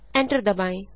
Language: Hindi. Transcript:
एंटर दबाएँ